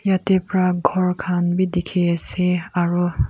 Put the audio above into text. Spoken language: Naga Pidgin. yatae pra ghor khan bi dikhiase aro.